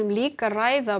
líka að ræða